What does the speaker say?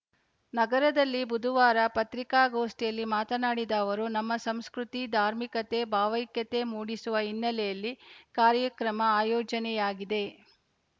ನಗರದಲ್ಲಿ ಬುಧವಾರ ಪತ್ರಿಕಾಗೋಷ್ಠಿಯಲ್ಲಿ ಮಾತನಾಡಿದ ಅವರು ನಮ್ಮ ಸಂಸ್ಕೃತಿ ಧಾರ್ಮಿಕತೆ ಭಾವೈಕ್ಯತೆ ಮೂಡಿಸುವ ಹಿನ್ನೆಲೆಯಲ್ಲಿ ಕಾರ್ಯಕ್ರಮ ಆಯೋಜನೆಯಾಗಿದೆ